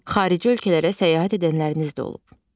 Xarici ölkələrə səyahət edənləriniz də olub.